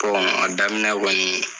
a daminɛ kɔni